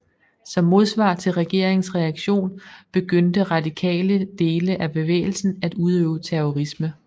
Som modsvar til regeringens reaktion begyndte radikale dele af bevægelsen at udøve terrorisme